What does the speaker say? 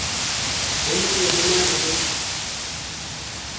ho ntse ho na le